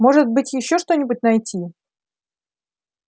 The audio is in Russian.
может быть ещё что-нибудь найти